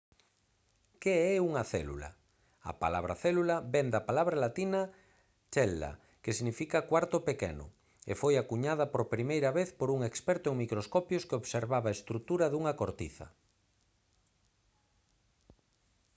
que é unha célula? a palabra célula vén da palabra latina «cella» que significa «cuarto pequeno» e foi acuñada por primeira vez por un experto en microscopios que observaba a estrutura dunha cortiza